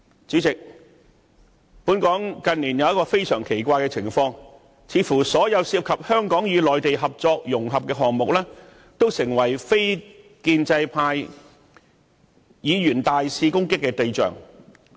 主席，本港近年有一種非常奇怪的情況，就是似乎所有涉及香港與內地合作融合的項目，均成為非建制派議員大肆攻擊的對象。